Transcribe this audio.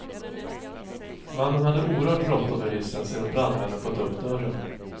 Mannen hade oerhört bråttom ur hissen sedan brandmännen fått upp dörren.